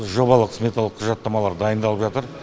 жобалық сметалық құжаттамалар дайындалып жатыр